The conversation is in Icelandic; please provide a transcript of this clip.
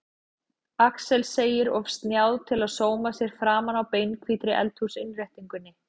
Axel segir of snjáð til að sóma sér framan á beinhvítri eldhúsinnréttingunni.